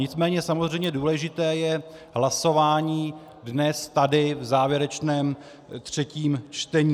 Nicméně samozřejmě důležité je hlasování dnes tady v závěrečném třetím čtení.